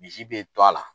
Misi bɛ to a la